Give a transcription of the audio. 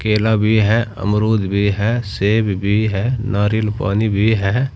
केला भी है अमरुद भी है सेब भी है नारियल पानी भी है।